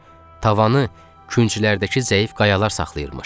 Tavanı künclərdəki zəif qayalar saxlayırmış.